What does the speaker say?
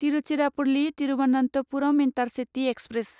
Tiruchirappalli Thiruvananthapuram intercity express